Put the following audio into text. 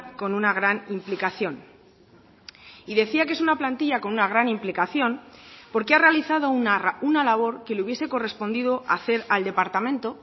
con una gran implicación y decía que es una plantilla con una gran implicación porque ha realizado una labor que le hubiese correspondido hacer al departamento